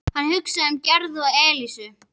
Hann hugsaði um Gerði og Elísu.